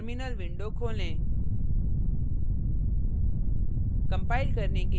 terminal window खोलें